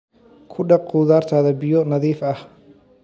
Ku dhaq khudaartaada biyo nadiif ah.